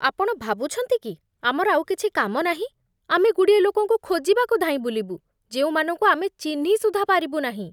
ଆପଣ ଭାବୁଛନ୍ତି କି ଆମର ଆଉ କିଛି କାମ ନାହିଁ, ଆମେ ଗୁଡ଼ିଏ ଲୋକଙ୍କୁ ଖୋଜିବାକୁ ଧାଇଁବୁଲିବୁ, ଯେଉଁମାନଙ୍କୁ ଆମେ ଚିହ୍ନି ସୁଦ୍ଧା ପାରିବୁନାହିଁ?